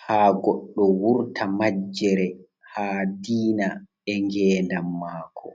ha goɗɗo wurta majjere ha diina e ngendam mako.